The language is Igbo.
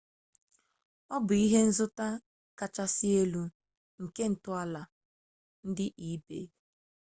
ọ bụ ihenzụta kachasị dị elu nke ntọala ndị ebay